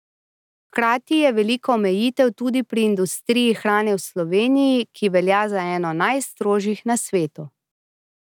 Hkrati je veliko omejitev tudi pri industriji hrane v Sloveniji, ki velja za eno najstrožjih na svetu.